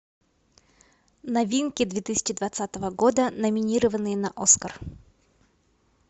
новинки две тысячи двадцатого года номинированные на оскар